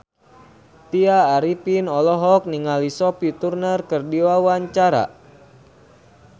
Tya Arifin olohok ningali Sophie Turner keur diwawancara